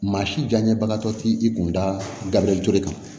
Maa si jaɲɛbagatɔ ti i kun dabilen kan